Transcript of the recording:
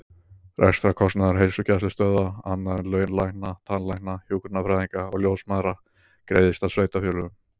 Rekstrarkostnaður heilsugæslustöðva, annar en laun lækna, tannlækna, hjúkrunarfræðinga og ljósmæðra, greiðist af sveitarfélögum.